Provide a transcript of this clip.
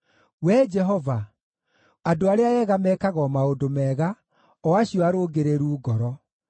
Wee Jehova, andũ arĩa ega mekaga o maũndũ mega, o acio arũngĩrĩru ngoro.